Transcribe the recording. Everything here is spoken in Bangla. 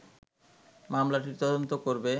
মামলাটির তদন্ত করবে